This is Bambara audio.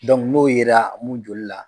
n'o yera mun joli la.